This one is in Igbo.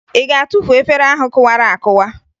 Ị ga-atufu efere ahụ kụwara akụwa?